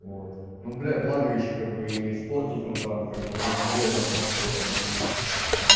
вот ну блага ещё как бы с портиком там как бы между делом можно было позаниматься